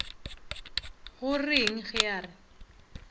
go reng ge a re